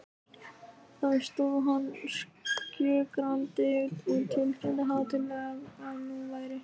Þar stóð hann skjögrandi og tilkynnti hátíðlega, að nú væri